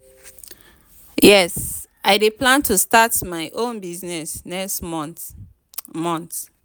yes i dey plan to start my own business next month. month.